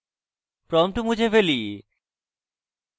prompt মুছে ফেলি